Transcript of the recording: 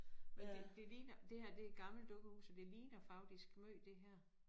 Men det det ligner det her det gammelt dukkehus og det ligner faktisk måj det her